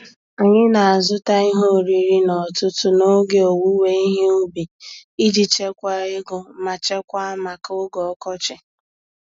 Anyị na-azụta ihe oriri n'ọtụtụ n'oge owuwe ihe ubi iji chekwaa ego ma chekwaa maka oge ọkọchị.